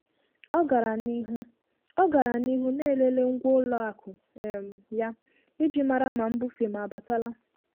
Ọ gara n'ihu Ọ gara n'ihu na-elele ngwa ụlọ akụ um ya iji mara ma mbufe m abatala.